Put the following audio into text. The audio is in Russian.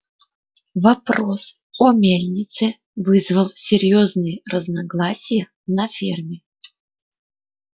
вопрос о мельнице вызвал серьёзные разногласия на ферме